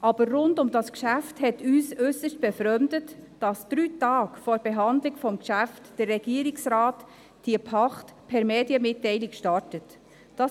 Aber rund um das Geschäft hat uns äussert befremdet, dass der Regierungsrat drei Tage vor der Behandlung des Geschäfts diese Pacht per Medienmitteilung gestartet hat.